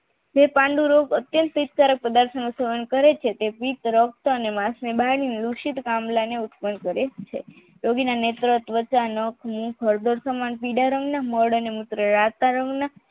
તે પાંડુ રોગ અત્યંત પિત્ત પદાર્થ કરે છે પિત્ત રક્ત અને વાસ ની બરણીઓ વૃષિત કમલા ને ઉત્પ્ન્ન કરે છે પીળા રંગના મળ અને મૂત્ર